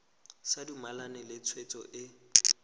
sa dumalane le tshwetso e